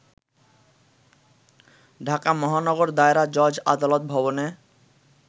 ঢাকা মহানগর দায়রা জজ আদালত ভবনে